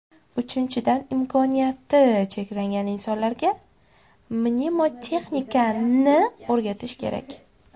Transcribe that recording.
Uchinchidan, imkoniyati cheklangan insonlarga mnemotexnikani o‘rgatish kerak.